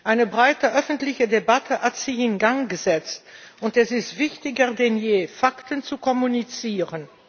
Eine breite öffentliche Debatte hat sich in Gang gesetzt, und es ist wichtiger denn je, Fakten zu kommunizieren.